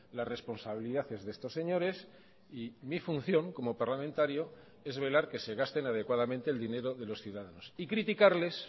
la responsabilidad es de estos señores y mi función como parlamentario es velar que se gasten adecuadamente el dinero de los ciudadanos y criticarles